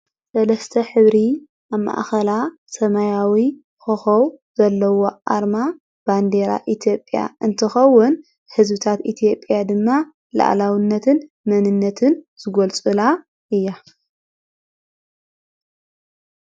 ስለስተ ኅብሪ ኣማእኸላ ሰማያዊ ኮኸው ዘለዎ ኣርማ ባንዴራ ኢቲጴያ እንትኸውን ሕዝብታት ኢቲየጴያ ድማ ለዕላውነትን መንነትን ዝጐልጹላ እያ።